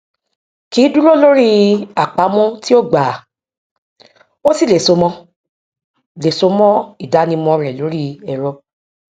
kì í dúró lórí àpamọ tí ó gbà á ó sì lè so mọ lè so mọ ìdánimọ rẹ lórí ẹrọ